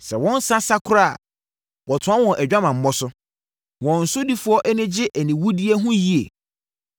Sɛ wɔn nsã sa koraa a, wɔtoa wɔn adwamammɔ so; wɔn sodifoɔ ani gye aniwudeɛ ho yie.